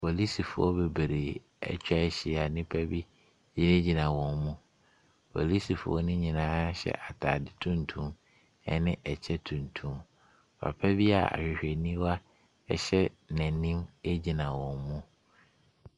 Polisifoɔ bebree ɛtwa hyia nipa bi gyinegyina wɔn mo. Polisifoɔ no nyinaa hyɛ ataade tuntum ɛne ɛkyɛ tuntum. Papa bi a ahwehwɛniwa ɛhyɛ n'anim egyina wɔn mu.